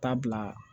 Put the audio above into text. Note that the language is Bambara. Taa bila